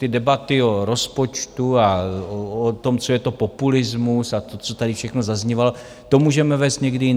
Ty debaty o rozpočtu a o tom, co je to populismus, a to, co tady všechno zaznívalo, to můžeme vést někdy jindy.